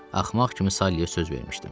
Axmaq kimi Saliyə söz vermişdim.